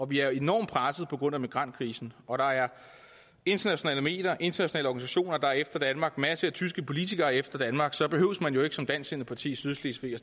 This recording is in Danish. vi er enormt presset på grund af migrantkrisen og at der er internationale medier internationale organisationer der er efter danmark masser af tyske politikere er efter danmark så behøver man som dansksindet parti i sydslesvig jo